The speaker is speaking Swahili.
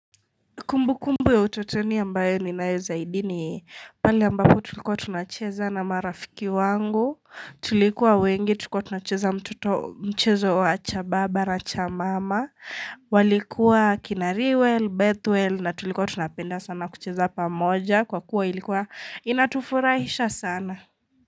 Kumbukumbu ya utotoni ambayo ninayo zaidi ni pali ambapo tulikuwa tunacheza na marafiki wangu, tulikuwa wengi, tulikuwa tunacheza mchezo wa cha baba na cha mama, walikuwa kina riwel, bethwel na tulikuwa tunapenda sana kucheza pamoja kwa kuwa ilikuwa inatufurahisha sana.